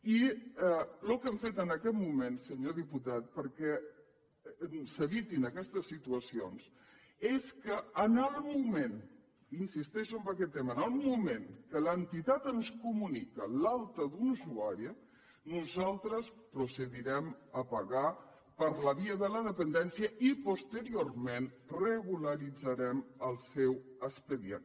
i el que hem fet en aquest moment senyor diputat perquè s’evitin aquestes situacions és que en el moment insisteixo en aquest tema que l’entitat ens comunica l’alta d’un usuari nosaltres procedirem a pagar per la via de la dependència i posteriorment regularitzarem el seu expedient